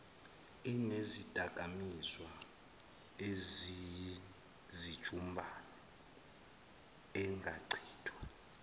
inezidakamizwa eziyizijumbana engachithwa